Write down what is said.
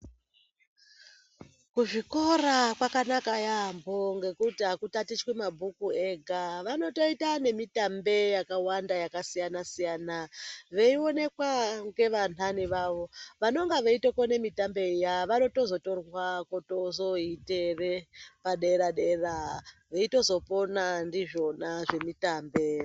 Kuzvikora kwakanaka yaambo nekuti hakutatichwi mabhuku ega. Vanotoita nemitambe yakawanda yakasiyana-siyana, veionekwa ngevanhani vavo. Vanonga veitokone mitambe iya, vanotozotorwa kutozoiite padera-dera, veitozopona ndizvona zvemitambe.